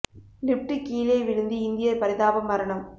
lift கீழே விழுந்து இந்தியர் பரிதாப மரணம்